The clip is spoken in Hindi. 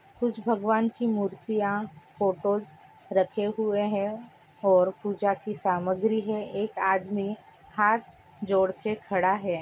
कुछ भगवान की मूर्तियाँ फोटोज रखें हुए हैं और पूजा की सामग्री हैं एक आदमी हाथ जोड़के खड़ा हैं।